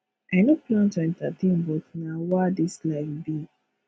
i no plan to entertain but na wah this life be